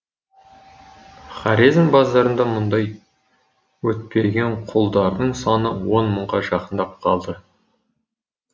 хорезм базарында мұндай өтпеген құлдардың саны он мыңға жақындап қалды